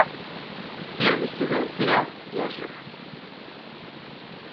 первый сезон сериал я жив